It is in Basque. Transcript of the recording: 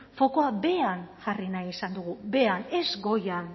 fokoa behean jarri nahi izan dugu behean ez goian